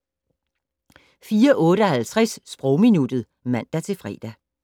04:58: Sprogminuttet (man-fre)